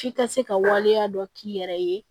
F'i ka se ka waleya dɔ k'i yɛrɛ ye